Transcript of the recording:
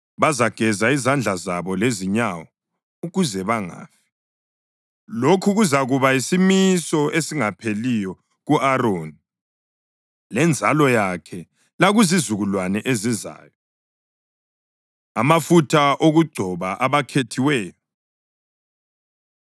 bazageza izandla zabo lezinyawo ukuze bangafi. Lokhu kuzakuba yisimiso esingapheliyo ku-Aroni lenzalo yakhe lakuzizukulwane ezizayo.” Amafutha Okugcoba Abakhethiweyo